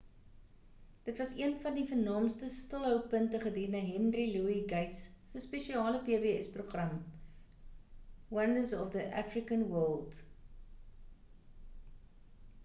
dit was een van die vernaamste stilhou punte gedurende henry louis gates se spesiale pbs program wonders of the african world